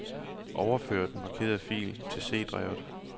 Overfør den markerede fil til C-drevet.